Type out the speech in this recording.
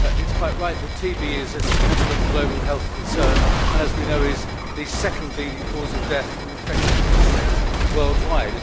It is quite right that TB is a significant global health concern and, as we know, is the second leading cause of death from infectious diseases worldwide.